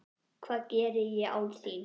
Hvað geri ég án þín?